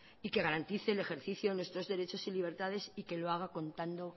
y que garantice el ejercicio de nuestros derechos y libertades y que lo haga contando